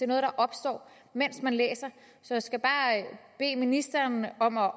noget der opstår mens man læser så jeg skal bare bede ministeren om at